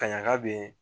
Ka ɲagakabe